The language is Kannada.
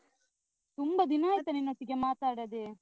ತುಂಬ ದಿನ ಆಯ್ತು ನಿನ್ನೊಟ್ಟಿಗೆ ಮಾತಾಡದೆ.